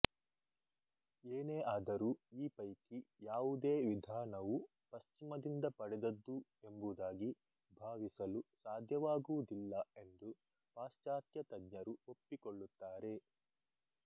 ಏನೇ ಆದರೂ ಈ ಪೈಕಿ ಯಾವುದೇ ವಿಧಾನವೂ ಪಶ್ಚಿಮದಿಂದ ಪಡೆದದ್ದು ಎಂಬುದಾಗಿ ಭಾವಿಸಲು ಸಾಧ್ಯವಾಗುವುದಿಲ್ಲ ಎಂದು ಪಾಶ್ಚಾತ್ಯ ತಜ್ಞರು ಒಪ್ಪಿಕೊಳ್ಳುತ್ತಾರೆ